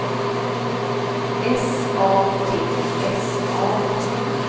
S A T S A